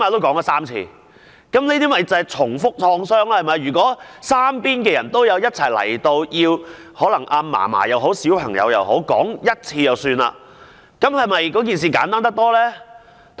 這些就是重複創傷，如果三方人員一同到場，可能小朋友或祖母只需複述1次案發經過，這樣做不是更簡單嗎？